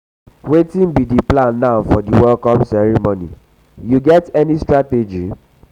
wetin be di plan now for di welcome ceremony you get any strategy?